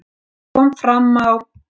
Eins og kom fram á